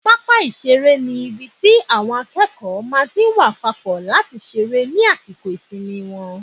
Pápá ìseré ni ibi tí àwọn akẹ́kọ̀ọ́ máa tí n wá papọ̀ láti seré ní àsìkò ìsinmi wọn